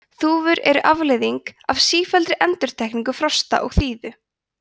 þúfur eru afleiðing af sífelldri endurtekningu frosts og þíðu